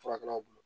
Furakɛlaw bolo